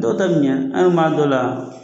Dɔw ta be ɲɛ, an ye b'a dɔw la